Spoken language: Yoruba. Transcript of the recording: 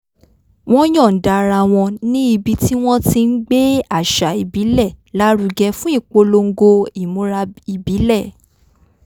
wọ́n yọ̀ǹda ara wo̩n ní ibi tí wọ́n ti ń gbé àṣà ìbílẹ̀ lárugẹ fún ìpolongo imura ìbílè̩